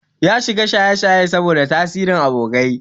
Ya shiga shayeshaye saboda tasirin abokai.